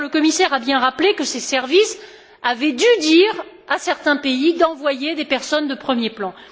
d'ailleurs, le commissaire a bien rappelé que ses services avaient dû dire à certains pays d'envoyer des personnes de premier plan.